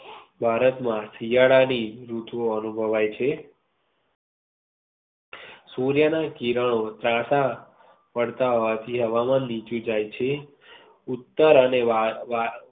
ભારત માં શિયાળા ની ઋતુ એનુભવાઈ છે સૂર્ય ના કિરણો ત્રાસા પડતા હોવાથી હવામાનની નીચે જાય છે. અને વા~વા